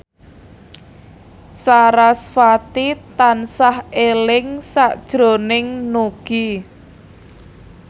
sarasvati tansah eling sakjroning Nugie